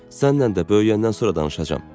Səninlə də böyüyəndən sonra danışacağam.